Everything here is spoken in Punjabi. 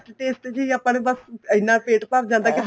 taste ਜੀ ਆਪਾਂ ਨੂੰ ਬੱਸ ਐਨਾ ਪੇਟ ਭਰ ਜਾਂਦਾ ਏ